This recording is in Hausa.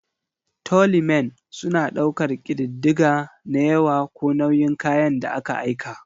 'Tallymen' suna ɗaukar ƙididdiga na yawa ko nauyin kayan da aka aika.